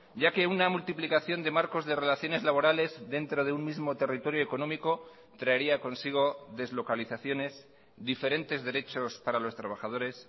ya que una multiplicación de marcos de relaciones laborales dentro de un mismo territorio económico traería consigo deslocalizaciones diferentes derechos para los trabajadores